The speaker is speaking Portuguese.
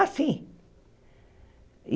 Assim.